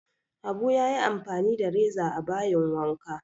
Abu ya yi amfani da reza a bayin wanka